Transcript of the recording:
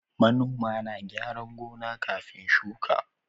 Manoma na kyaran gona kafin shuka